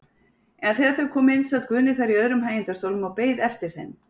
En þegar þau komu inn sat Guðni þar í öðrum hægindastólnum og beið eftir þeim.